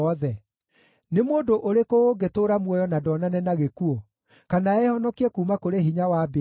Nĩ mũndũ ũrĩkũ ũngĩtũũra muoyo na ndonane na gĩkuũ, kana ehonokie kuuma kũrĩ hinya wa mbĩrĩra?